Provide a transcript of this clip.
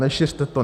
Nešiřte to.